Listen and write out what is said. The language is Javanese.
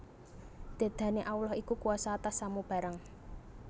Dedane Allah iku kuwasa atas samu barang